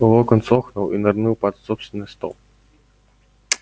локонс охнул и нырнул под собственный стол